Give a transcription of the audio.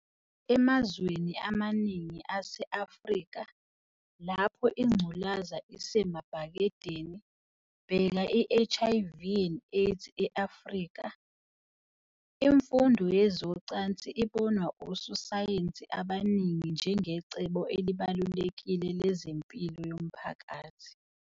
Emazweni amaningi ase-Afrika, lapho ingculaza isemabhakedeni, bheka i- HIV and AIDS e-Afrika, imfundo yezocansi ibonwa ososayensi abaningi njengecebo elibalulekile lezempilo yomphakathi.